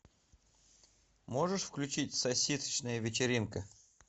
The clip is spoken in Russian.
можешь включить сосисочная вечеринка